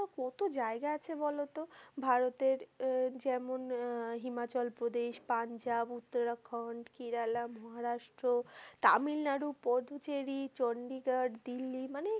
কত জায়গা আছে বলতো ভারতের আহ যেমন আহ হিমাচল প্রদেশ, পাঞ্জাব, উত্তরাখন্ড, কেরালা, মহারাষ্ট্র, তামিলনাড়ু, পথচেরি, চন্ডিগাড়, দিল্লি মানে,